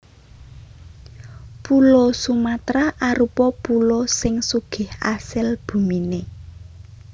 Pulo Sumatra arupa pulo sing sugih asil buminé